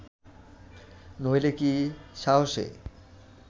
নহিলে কি সাহসে